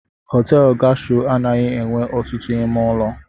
Họtelụ Gastro anaghị enwe ọtụtụ ime ụlọ.